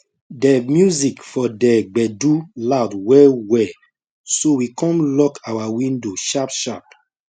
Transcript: de music for de gbedu loud well well so we come lock our window sharp sharp